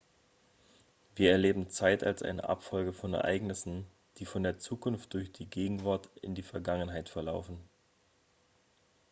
wir erleben zeit als eine abfolge von ereignissen die von der zukunft durch die gegenwart in die vergangenheit verlaufen